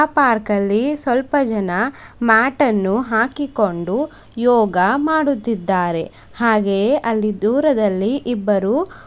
park ಅಲ್ಲಿ ಸ್ವಲ್ಪ ಜನ ಮ್ಯಾಟ್ ಅನ್ನು ಹಾಕಿಕೊಂಡು ಯೋಗ ಮಾಡುತ್ತಿದ್ದಾರೆ ಹಾಗೆಯೇ ಅಲ್ಲಿ ದೂರದಲ್ಲಿ ಇಬ್ಬರು --